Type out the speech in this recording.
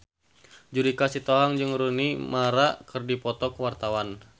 Judika Sitohang jeung Rooney Mara keur dipoto ku wartawan